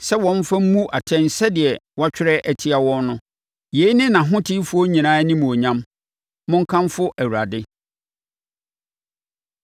sɛ wɔmfa mmu atɛn sɛdeɛ wɔatwerɛ atia wɔn no. Yei ne nʼahotefoɔ nyinaa animuonyam. Monkamfo Awurade.